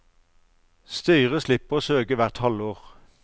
Styret slipper å søke hvert halvår.